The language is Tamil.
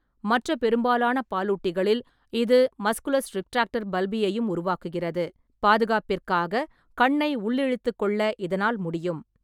மற்ற பெரும்பாலான பாலூட்டிகளில், இது மஸ்குலஸ் ரிட்ராக்டர் பல்பியையும் உருவாக்குகிறது, பாதுகாப்பிற்காக கண்ணை உள்ளிழுத்துக்கொள்ள இதனால் முடியும்.